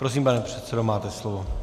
Prosím, pane předsedo, máte slovo.